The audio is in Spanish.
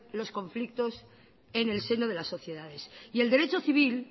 los conflictos en el seno de las sociedades y el derecho civil